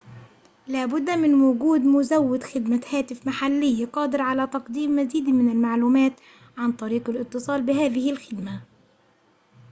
لابد من وجود مزوِّد خدمة هاتف محلي قادر على تقديم مزيد من المعلومات عن طرق الاتصال بهذه الخدمة